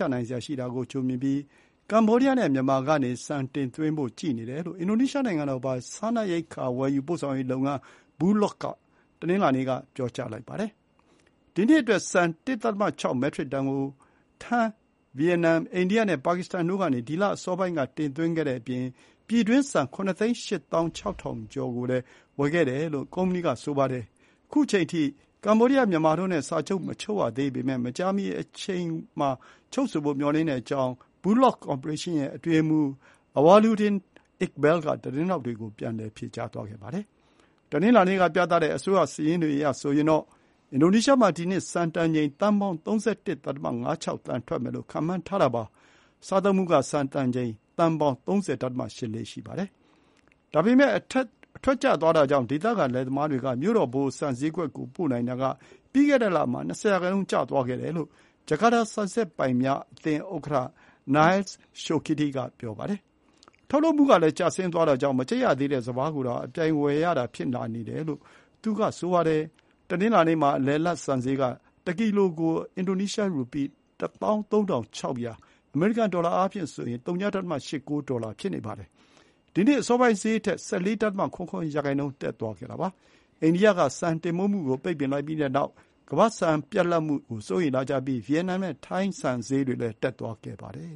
ျနိုင်စရာရှိတာကိုကြိုမြင်ပြီး ကမ္ဗောဒီးယားနဲ့မြန်မာကနေ ဆန်တင်သွင်းဖို့ကြည့်နေတယ်လို့ အင်ဒိုနီးရှားနိုင်ငံတော်ပိုင် စားနပ်ရိက္ခာဝယ်ယူပို့ဆောင်ရေးလုပ်ငန်း Bulog က တနင်္လာနေ့မှာ ပြောပါတယ်။ ဒီနှစ်အတွက် ဆန် ၁.၆ မက်ထရစ်တန်ကို ထိုင်း၊ ဗီယက်နမ်၊ အိန္ဒိယနဲ့ ပါကစ္စတန်တို့ကနေ ဒီ လအစောပိုင်း ကတင်သွင်းခဲ့တဲ့အပြင် ပြည်တွင်းဆန် ၇ သိန်း ၈ သောင်း ၆ ထောင်ကျော် ကို ဝယ်ခဲ့တယ်လို့လည်း ကုမ္ပဏီက ဆိုပါတယ်။ ခုအချိန်ထိ စာချုပ်မချုပ်ရသေးပေမဲ့ မကြာခင်မှာ ချုပ်ဖို့မျှော်လင့်တဲ့အကြောင်း Bulog ကော်ပိုရေးရှင်းရဲ့အတွင်းရေးမှူး Awaluddin Iqbal က သတင်းထောက်တွေကို ပြန်လည် ဖြေကြားသွားပါတယ်။ တနင်္လာနေ့ကပြသတဲ့ အစိုးရစာရင်းတွေအရဆိုရင်တော့ အင်ဒိုနီးရှားမှာ ဒီနှစ် ဆန်တန်ချိန် သန်းပေါင်း ၃၁.၅၆ သန်း ထွက်မယ်လို့ခန့်မှန်းထားတာပါ။ စားသုံးမှုက ဆန်တန်ချိန်သန်းပေါင်း ၃၀.၈၄ ရှိပါတယ်။ အထွက်ကျသွားတာကြောင့် ဒေသခံလယ်သမားတွေက မြို့တော် ဗဟို ဆန်စျေးကွက်ကို ပို့နိုင်တာက ပြီးခဲ့တဲ့လမှာ ၂၀ ရာနှုန်း ကျသွားခဲ့တယ်လို့ ဂျာကာတာ ဆန်စက်ပိုင်များအသင်းဥက္ကဋ္ဌ Nellys Soekidi က ပြောပါတယ်။ ထုတ်လုပ်မှုကလည်း ကျဆင်းသွားတာကြောင့် မကြိတ်ရသေးတဲ့ စပါးကိုက အပြိုင်ဝယ်ရတာ ဖြစ်လာနေတယ်လို့ သူက ဆိုပါတယ်။ တနင်္လာနေ့မှာ အလယ်အလတ် ဆန်စျေးက တကီလိုကို အင်ဒိုနီးရှား ရူပီး ၁၃၆၀၀ အမေရိကန်ဒေါ်လာအားဖြင့် ၀.၈၉ ဒေါ်လာ ဖြစ်နေပါတယ်။ ဒီနှစ်အစောပိုင်းစျေးထက် ၁၄.၇၇ ရာနှုန်း တက်သွားတာပါ။ အိန္ဒိယ က ဆန်တင်ပို့မှုကို ပိတ်ပင်လိုက်ပြီးတဲ့နောက် ကမ္ဘာ့ဆန်ပြတ်လပ်မှုကို စိုးရိမ်လာကြပြီး ဗီယက်နမ်နဲ့ထိုင်း ဆန်စျေးတွေလည်း တက်သွားခဲ့ပါတယ